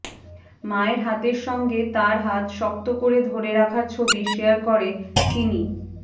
মায়ের হাতের সঙ্গে তাঁর হাত শক্ত করে ধরে রাখা ছবি শেয়ার করে তিনি